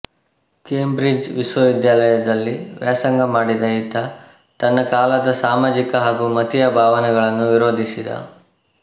Cambridge ವಿಶ್ವವಿದ್ಯಾಲಯದಲ್ಲಿ ವ್ಯಾಸಂಗ ಮಾಡಿದ ಈತ ತನ್ನ ಕಾಲದ ಸಾಮಾಜಿಕ ಹಾಗೂ ಮತೀಯ ಭಾವನೆಗಳನ್ನು ವಿರೋಧಿಸಿದ